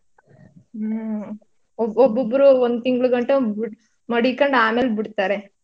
ಹ್ಮ್ ಒಬ್ಬೊಬ್ಬೊಬ್ರು ಒಂದ್ ತಿಂಗ್ಳುಗಂಟ್ಟ ಮಡಿಕೊಂಡು ಆಮೇಲೆ ಬಿಡ್ತಾರೆ.